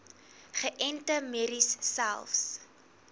geënte merries selfs